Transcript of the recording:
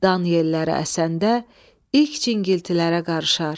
Dan yelləri əsəndə ilk cingiltilərə qarışar.